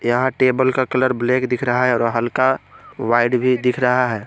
यहां टेबल का colour black दिख रहा है और हल्का व्हाइट भी दिख रहा है।